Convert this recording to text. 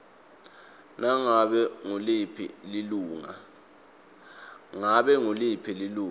ngabe nguliphi lilunga